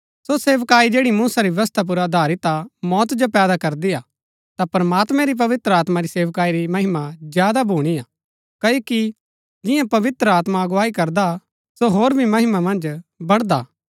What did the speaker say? सो सेवकाई जैड़ी मूसा री व्यवस्था पुर अधारित हा मौत जो पैदा करदी हा ता प्रमात्मैं री पवित्र आत्मा री सेवकाई री महिमा ज्यादा भूणी हा क्ओकि जियां पवित्र आत्मा अगुवाई करदा हा सो होर भी महिमा मन्ज बड़दा हा